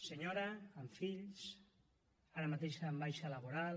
senyora amb fills ara mateix en baixa laboral